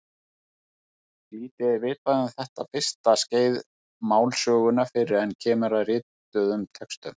Lítið er vitað um þetta fyrsta skeið málsögunnar fyrr en kemur að rituðum textum.